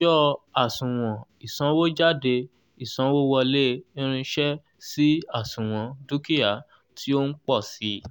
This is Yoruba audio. ọjọ́ àsuwon ìsanwójádé ìsanwówọlé irinṣẹ́ sì àsuwon dúkìá tí ó ń pọ̀ sii